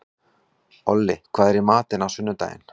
Olli, hvað er í matinn á sunnudaginn?